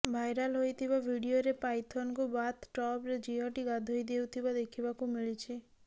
viral ହୋଇଥିବା ଭିଡିଓରେ ପାଇଥନକୁ ବାଥ୍ ଟବ୍ରେ ଝିଅଟି ଗାଧୋଇ ଦେଉଥିବା ଦେଖିବାକୁ ମିଳିଛି